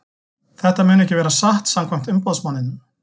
Þetta mun ekki vera satt samkvæmt umboðsmanninum.